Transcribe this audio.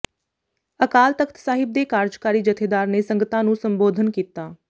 ਅਕਾਲ ਤਖਤ ਸਾਹਿਬ ਦੇ ਕਾਰਜਕਾਰੀ ਜਥੇਦਾਰ ਨੇ ਸੰਗਤਾਂ ਨੂੰ ਸੰਬੋਧਨ ਕੀਤਾ